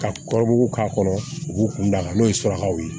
Ka kɔrɔbɔrɔw k'a kɔnɔ u b'u kun da a kan n'o ye surakaw ye